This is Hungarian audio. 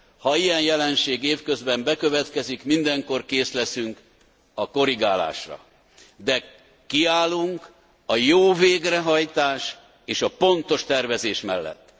Ha ilyen jelenség év közben bekövetkezik, mindenkor kész leszünk a korrigálásra, de kiállunk a jó végrehajtás és a pontos tervezés mellett.